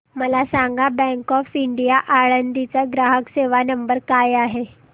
मला सांगा bank of India Alandi चा ग्राहक सेवा नंबर काय आहे